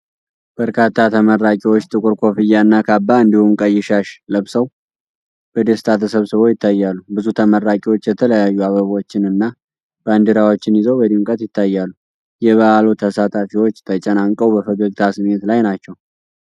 በርካታ ተመራቂዎች ጥቁር ኮፍያና ካባ እንዲሁም ቀይ ሻሽ ለብሰው በደስታ ተሰብስበው ይታያሉ። ብዙ ተመራቂዎች የተለያዩ አበቦችን እና ባንዲራዎችን ይዘው በድምቀት ይታያሉ። የበዓሉ ተሳታፊዎች ተጨናንቀው በፈገግታ ስሜት ላይ ናቸው።